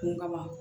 Kun kama